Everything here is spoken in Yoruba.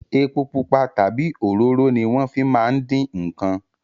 Epo pupa tabi òróró ni wọn fi máa ń dín nkàn